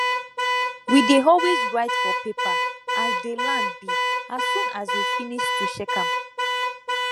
we dey always write for paper as dey land be as soon as we finis to check am